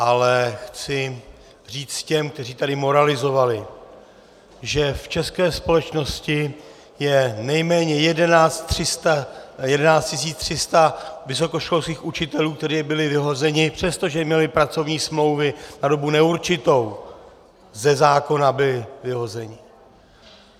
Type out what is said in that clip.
Ale chci říct těm, kteří tady moralizovali, že v české společnosti je nejméně 11 300 vysokoškolských učitelů, kteří byli vyhozeni, přestože měli pracovní smlouvy na dobu neurčitou, ze zákona byli vyhozeni.